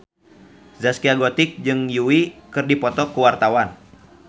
Zaskia Gotik jeung Yui keur dipoto ku wartawan